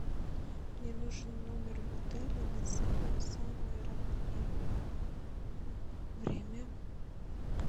мне нужен номер в отеле на самое самое раннее время